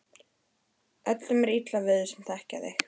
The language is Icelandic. Öllum er illa við þig sem þekkja þig!